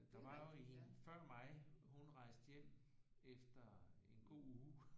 Der var jo en før mig hun rejste hjem efter en god uge